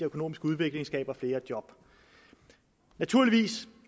økonomisk udvikling skaber flere job naturligvis